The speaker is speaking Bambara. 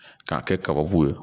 K'a kɛ kaba bo ye